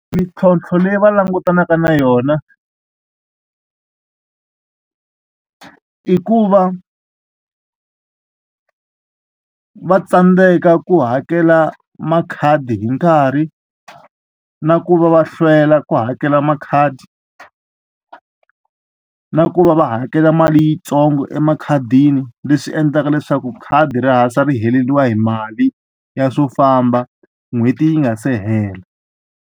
Mintlhontlho leyi va langutanaka na yona i ku va va tsandzeka ku hakela makhadi hi nkarhi na ku va va hlwela ku hakela makhadi na ku va va hakela mali yintsongo emakhadini leswi endlaka leswaku khadi ri hansi ri heleriwa hi mali ya swo famba n'hweti yi nga se hela.